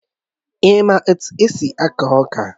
Ị́ mà etu esi aku ọka?